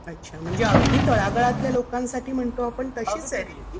अच्छा. म्हणजे अगदी तळागाळातल्या लोकांसाठी म्हणतो आपण तशीच आहे रे ही.